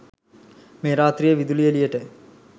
මේ රාත්‍රියේ විදුලිය එළියට